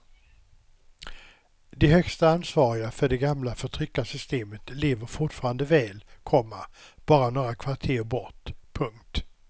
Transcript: De högsta ansvariga för det gamla förtryckarsystemet lever fortfarande väl, komma bara några kvarter bort. punkt